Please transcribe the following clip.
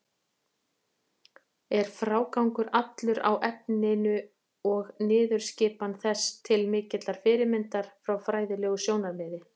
Er frágangur allur á efninu og niðurskipan þess til mikillar fyrirmyndar frá fræðilegu sjónarmiði.